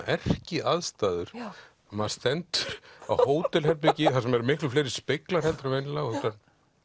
erkiaðstæður maður stendur á hótelherbergi þar sem eru miklu fleiri speglar heldur en venjulega og þetta